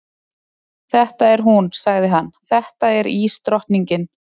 Þetta er hún, sagði hann, þetta er ísdrottningin.